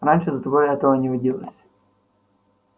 раньше за тобой этого не водилось